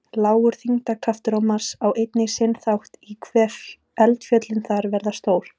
Lágur þyngdarkraftur á Mars á einnig sinn þátt í hve eldfjöllin þar verða stór.